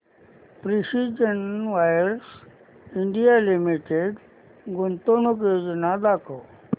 precision wires India limited गुंतवणूक योजना दाखव